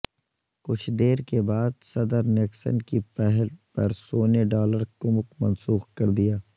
کچھ دیر کے بعد صدر نکسن کی پہل پر سونے ڈالر کمک منسوخ کر دیا